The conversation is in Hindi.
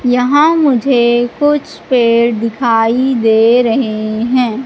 यहां मुझे कुछ पेड़ दिखाई दे रहें हैं।